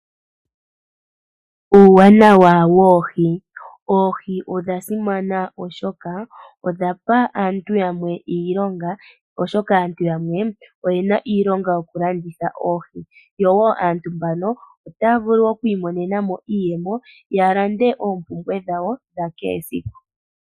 Oohi odha simana oshoka odha pa aantu yamwe iilonga oshoka aantu yamwe oye na iilonga yokulanditha oohi, yo wo aantu mbano otaya vulu oku imonena iiyemo ya lande oompumbwe dhawo dha kehe esiku.